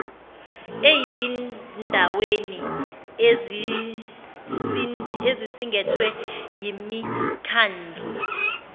eyindaweni ezisingethwe yimikhandlu